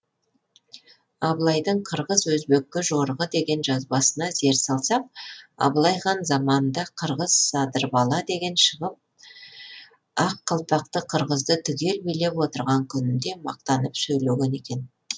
абылайдың қырғыз өзбекке жорығы деген жазбасына зер салсақ абылай хан заманында қырғыз садырбала деген шығып ақ қалпақты қырғызды түгел билеп тұрған күнінде мақтанып сөйлеген екен